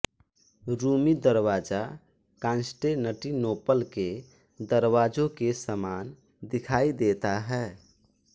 Rumi Darwaza Constantinople के दरवाजों के समान दिखाई देता है